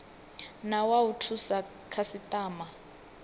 na wa u thusa khasitama